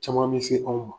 Caman bɛ se anw ma